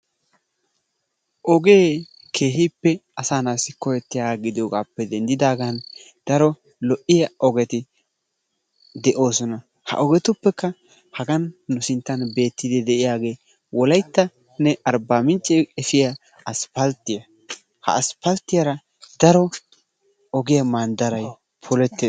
Ogee keehippe asaa naatussi koyettiyoogaa gidoogappe denddidaagan daro lo"iyaa ogeti de"oosona. Ha ogetuppekka hagan nu sinttan bettiidi de'iyaagee wolayttanne arbbaamincce efiyaa asppalttiyaa. Ha asppalttiyaara daro ogiyaa manddaray polettees.